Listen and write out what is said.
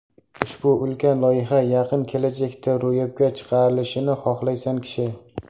Ushbu ulkan loyiha yaqin kelajakda ro‘yobga chiqarilishini xohlaysan kishi.